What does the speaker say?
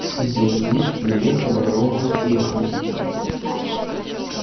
с земли приехали роботехники